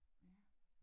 Ja